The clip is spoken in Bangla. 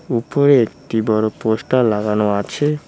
উপরে একটি বড়ো পোস্টার লাগানো আছে।